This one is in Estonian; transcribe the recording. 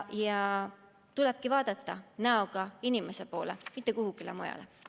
Ja tulebki seista näoga inimeste poole, mitte vaadata kuhugi mujale.